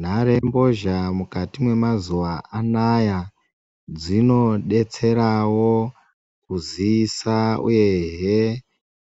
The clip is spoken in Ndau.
Nhare mbozha mukati memazuva anaya dzinobetseravo kuziisa, uyehe